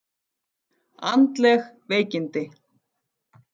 Andleg veikindi!